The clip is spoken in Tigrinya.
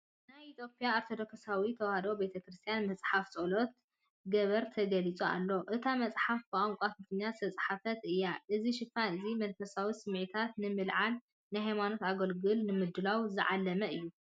ናይ ኢትዮጵያ ኦርቶዶክሳዊት ተዋህዶ ቤተክርስትያን መጽሓፍ ጸሎት ገበር ተገሊፁ ኣሎ። እታ መጽሓፍ ብቋንቋ ትግርኛ ዝተጻሕፈት እያ። እዚ ሽፋን እዚ መንፈሳዊ ስምዒታት ንምልዕዓልን ንሃይማኖታዊ ኣገልግሎት ንምድላውን ዝዓለመ እዩ።